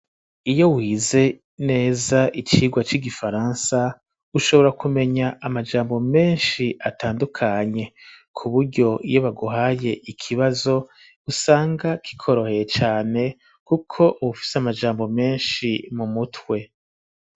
Iyo wize neza icirwa c'igifaransa ushobora kumenya amajambo meshi atandukanye kuburyo iyo baguhaye ikibazo usanga kikoroheye cane kuko uba ufise amajambo meshi mu mutwe.